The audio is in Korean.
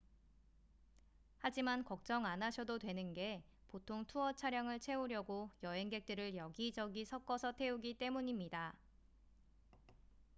하지만 걱정 안 하셔도 되는 게 보통 투어 차량을 채우려고 여행객들을 여기저기 섞어서 태우기 때문입니다